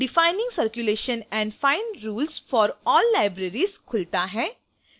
defining circulation and fine rules for all libraries खुलता है